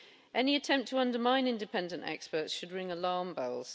Any attempt to undermine independent experts should ring alarm bells.